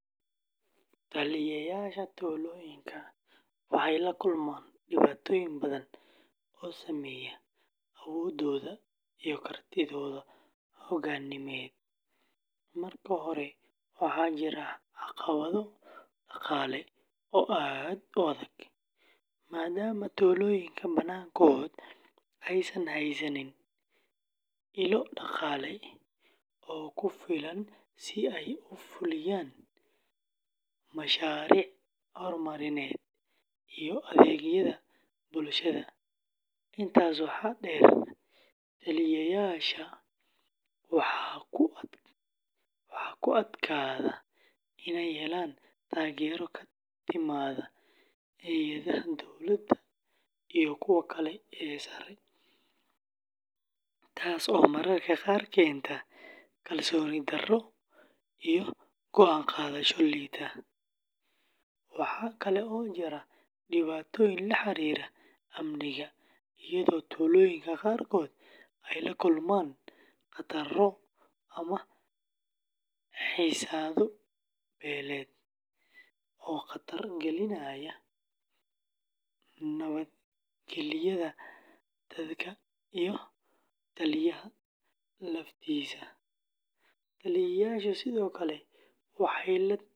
Taliyeyaasha tuulooyinka waxay la kulmaan dhibaatooyin badan oo saameeya awooddooda iyo kartidooda hogaamineed. Marka hore, waxaa jira caqabado dhaqaale oo aad u adag, maadaama tuulooyinka badankood aysan haysan ilo dhaqaale oo ku filan si ay u fuliyaan mashaariic horumarineed iyo adeegyada bulshada. Intaas waxaa dheer, taliyeyaasha waxaa ku adkaata inay helaan taageero ka timaadda hay’adaha dowladda iyo kuwa kale ee sare, taas oo mararka qaar keenta kalsooni darro iyo go’aan qaadasho liidata. Waxaa kale oo jira dhibaatooyin la xiriira amniga, iyadoo tuulooyinka qaarkood ay la kulmaan khataro ama xiisado beeleed oo khatar gelinaya nabadgelyada dadka iyo taliyaha laftiisa. Taliyeyaashu sidoo kale waxay la tacaalaan.